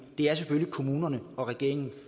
det er selvfølgelig kommunerne og regeringen